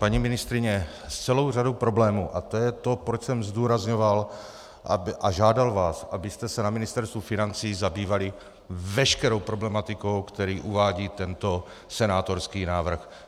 Paní ministryně, s celou řadou problémů - a to je to, proč jsem zdůrazňoval a žádal vás, abyste se na Ministerstvu financí zabývali veškerou problematikou, kterou uvádí tento senátorský návrh.